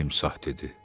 timsah dedi.